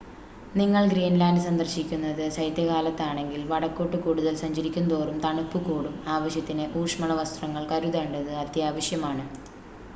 നിങ്ങൾ ഗ്രീൻലാൻഡ് സന്ദർശിക്കുന്നത് ശൈത്യകാലത്താണെങ്കിൽ വടക്കോട്ട് കൂടുതൽ സഞ്ചാരിക്കുംതോറും തണുപ്പ് കൂടും ആവശ്യത്തിന് ഊഷ്മള വസ്ത്രങ്ങൾ കരുതേണ്ടത് അത്യാവശ്യമാണ്